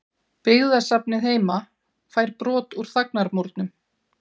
Byggðasafnið heima fær brot úr þagnarmúrnum